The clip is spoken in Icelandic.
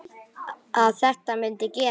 Að þetta mundi gerast.